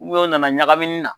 o nana ɲagamini na.